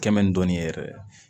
Kɛmɛni dɔɔni yɛrɛ